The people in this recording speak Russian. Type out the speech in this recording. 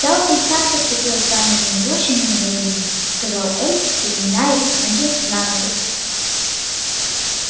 добби так поступил с самыми лучшими намерениями сказал эльф переминаясь с ноги на ногу